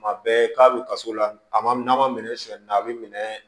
Kuma bɛɛ k'a bɛ kaso la a ma n'a ma minɛ sɔ na a bɛ minɛ